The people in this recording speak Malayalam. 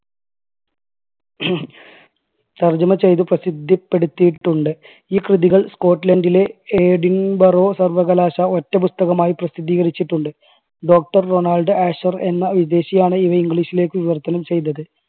തർജ്ജമ ചെയ്ത് പ്രസിദ്ധപ്പെടുത്തിയിട്ടുണ്ട്. ഈ കൃതികൾ സ്കോട്ട്‌ലൻഡിലെ ഏഡിൻബറോ സർവ്വകലാശാല ഒറ്റ പുസ്തകമായി പ്രസിദ്ധീകരിച്ചിട്ടുണ്ട്. doctor റൊണാൾഡ് ആഷർ എന്ന വിദേശിയാണ് ഇത് english ലേക്ക് വിവർത്തനം ചെയ്തത്.